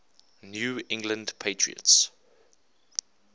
new england patriots